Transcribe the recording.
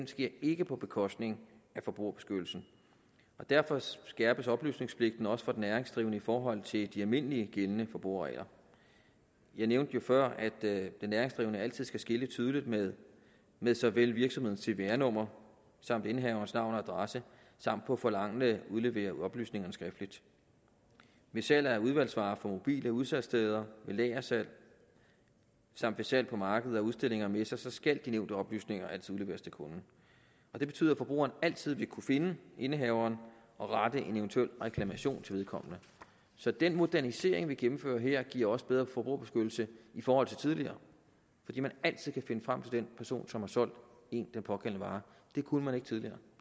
sker ikke på bekostning af forbrugerbeskyttelsen og derfor skærpes oplysningspligten også for den næringsdrivende i forhold til de almindeligt gældende forbrugerregler jeg nævnte jo før at den næringsdrivende altid skal skilte tydeligt med med såvel virksomhedens cvr nummer som indehaverens navn og adresse samt på forlangende udlevere oplysningerne skriftligt ved salg af udsalgsvarer fra mobile udsalgssteder ved lagersalg samt ved salg på markeder udstillinger og messer skal de nævnte oplysninger altid udleveres til kunden det betyder at forbrugerne altid vil kunne finde indehaveren og rette en eventuel reklamation til vedkommende så den modernisering vi gennemfører her giver også bedre forbrugerbeskyttelse i forhold til tidligere fordi man altid kan finde frem til den person som har solgt en den pågældende vare det kunne man ikke tidligere